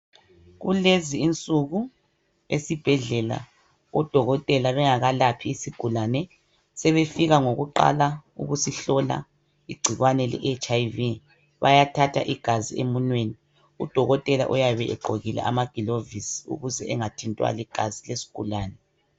Kulezi insuku ezibhedlela udokotela bengakalaphi izigulane sebefika ngokuqala ngokusihlola igcikwane leHIV bayathatha igazi emunweni udokotela uyabe egqokile amaglovisi ukuze engathintwa ligazi lesigulani